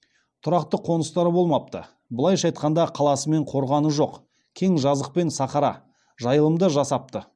тұрақты қоныстары болмапты былайша айтқанда қаласы мен қорғаны жоқ кең жазық пен сахара жайылымда жасапты